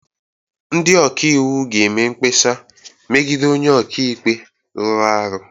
Ndị ọka iwu ga-eme mkpesa megide onye ọka ikpe rụrụ arụ